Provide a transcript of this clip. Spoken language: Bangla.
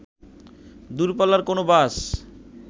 দূরপাল্লার কোনো বাস